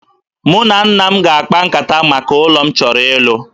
Mụ na nna m ga-akpa nkata maka ụlọ m chọrọ ịlụ